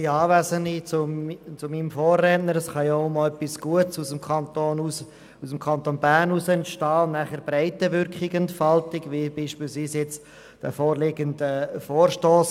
Zu meinem Vorredner: Es kann auch einmal etwas Gutes aus dem Kanton Bern heraus entstehen und nachher Breitenwirkung entfalten, wie beispielsweise der jetzt vorliegende Vorstoss.